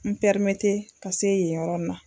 N ka se yen yɔrɔ in na.